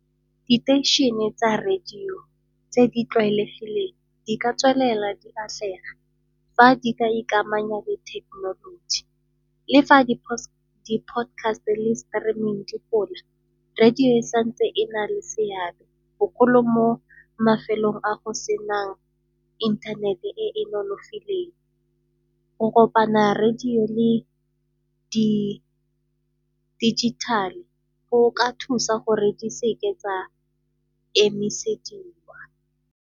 Diteishene tsa radio tse di tlwaelegileng di ka tswelela di atlega, fa di ka ikamanya le thekenoloji. Le fa di-podcast le di streaming di radio e sa ntse e na le seabe bogolo mo mafelong a go senang inthanete e e nonofileng. Go kopana radio le di dijithale go ka thusa gore di seke tsa emisediwa.